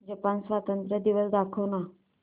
Japan स्वातंत्र्य दिवस दाखव ना